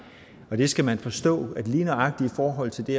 og det skal man forstå lige nøjagtig i forhold til det